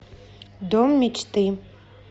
дом мечты